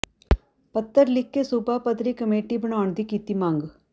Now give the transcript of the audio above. ਪੱਤਰ ਲਿਖ਼ ਕੇ ਸੂਬਾ ਪੱਧਰੀ ਕਮੇਟੀ ਬਣਾਉਣ ਦੀ ਕੀਤੀ ਮੰਗ